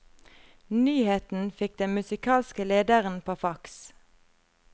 Nyheten fikk den musikalske lederen på fax.